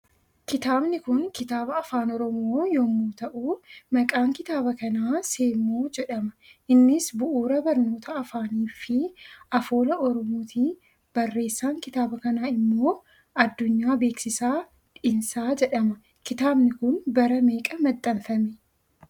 Kitaabni Kun kitaaba afaan oromoo yommuu ta'u maqaan kitaaba kanaaSemmoo jedhama innis bu'uura barnoota afaaniifi afoola oromooti barreessaan kitaaba kanaa immoo Addunyaa Beeksisaa Dhiinsa jedhama. Kitaabni Kun bara meeqa maxxanfame?